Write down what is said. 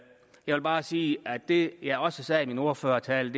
jeg vil bare sige det jeg også sagde i min ordførertale